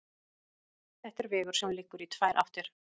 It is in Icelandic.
Þetta er vegur sem liggur í tvær áttir.